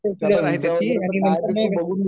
नंतर मग